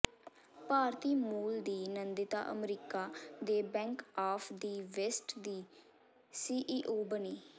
ਭਾਰਤੀ ਮੂਲ ਦੀ ਨੰਦਿਤਾ ਅਮਰੀਕਾ ਦੇ ਬੈਂਕ ਆਫ ਦਿ ਵੈਸਟ ਦੀ ਸੀਈਓ ਬਣੀ